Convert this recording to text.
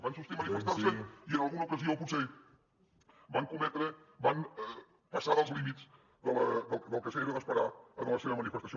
van sortir a manifestar se i en alguna ocasió potser van cometre van passar dels límits del que era d’esperar en la seva manifestació